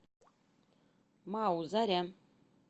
мау заря